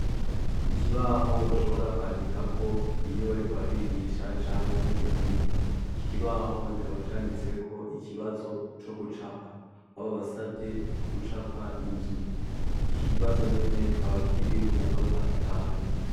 Ikibaho bashobora kwandikako iyo bariko barigisha canke mu bindi, iki kibaho kikaba canditseko ikibazo co gucapa, aho babasavye gucapa inzu, iki kibazo nyene kikaba kiri ku manota atanu.